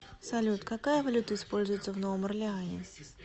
салют какая валюта используется в новом орлеане